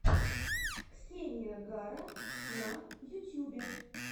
ксения гара на ютьюбе